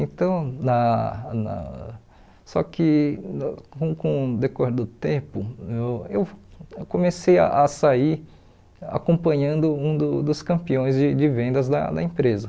Então, lá na só que com com o decorrer do tempo, eu eu comecei a sair acompanhando um do dos campeões de de vendas da da empresa.